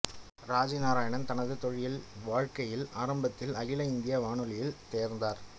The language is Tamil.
ராஜி நாராயண் தனது தொழில் வாழ்க்கையில் ஆரம்பத்தில் அகில இந்திய வானொலியில் சேர்ந்தார்